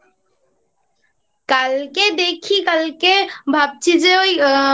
কালকে দেখি কালকে ভাবছি যে ওই